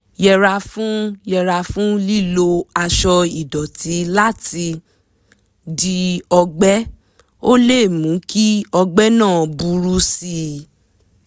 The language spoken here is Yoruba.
yẹra fún yẹra fún lílo aṣọ ìdọ̀tí láti di ọgbẹ́ - ó lè mú kí ọgbẹ́ náà burú sí i